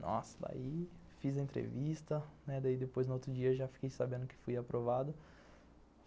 Nossa, daí fiz a entrevista, daí depois, no outro dia, já fiquei sabendo que fui aprovado.